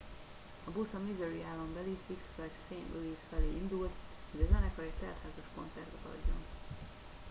a busz a missouri állambeli six flags st louis felé indult hogy a zenekar egy teltházas koncertet adjon